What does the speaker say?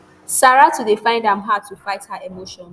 saratu dey find am hard to fight her emotions